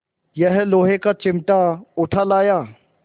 यह लोहे का चिमटा उठा लाया